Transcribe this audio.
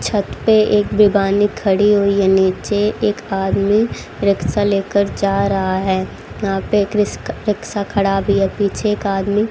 छत पे एक बेबानी खड़ी हुई है नीचे एक आदमी रिक्शा लेकर जा रहा है यहां पे एक रिस्क रिक्शा खड़ा भी है पीछे एक आदमी --